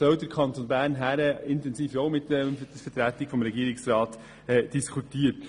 Wohin soll der Kanton Bern mit der Vertretung des Regierungsrats gehen?